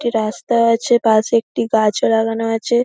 রাস্তা আছে পাশে একটি গাছও লাগানো আছে।